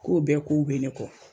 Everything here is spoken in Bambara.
K'o bɛɛ kow be ne kɔ